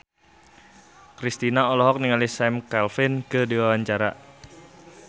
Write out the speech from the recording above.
Kristina olohok ningali Sam Claflin keur diwawancara